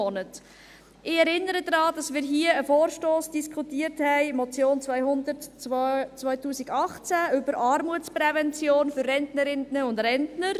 Ich erinnere daran, dass wir hier einen Vorstoss diskutiert haben, die Motion 200-2018, über Armutsprävention für Rentnerinnen und Rentner.